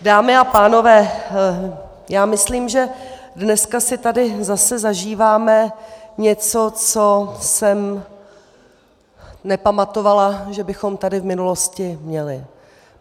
Dámy a pánové, já myslím, že dneska si tady zase zažíváme něco, co jsem nepamatovala, že bychom tady v minulosti měli.